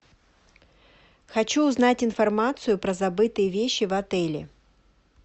хочу узнать информацию про забытые вещи в отеле